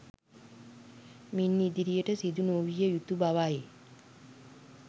මින් ඉදිරියට සිදු නොවිය යුතු බවයි